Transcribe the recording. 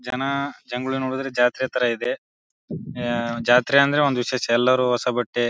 ಜನ ಜಗ್ಗುಲಿ ನೋಡಿದ್ರೆ ಜಾತ್ರೆ ತರ ಇದೆ. ಅಹ್ ಜಾತ್ರೆ ಅಂದ್ರೆ ಒಂದ್ ವಿಶೇಷ ಎಲ್ಲಾರು ಹೊಸ ಬಟ್ಟೆ --